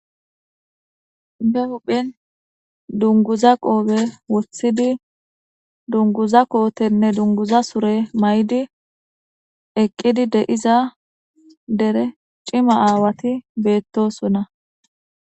Be huphen dunguza qoobe woththidi dunguza kootenne dunguza sure may'di eqqidi deiza dere cima aawati beettosona.